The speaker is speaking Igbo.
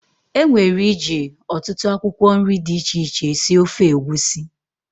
E nwere iji ọtụtụ akwụkwọ nri dị iche iche sie ofe egwusi.